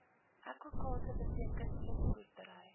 aquaculture beteken visboerdery